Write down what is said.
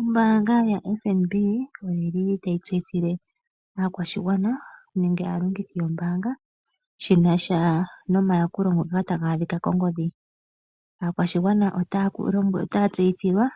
Ombaanga yoFNB ota yi tseyithile aakwashigwana shinasha nenge aalongithi yombaanga shinasha nomayakulo ngoka ta ga adhika kongodhi, aakwashigwana ota ya tseyithilwa